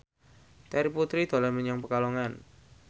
Terry Putri dolan menyang Pekalongan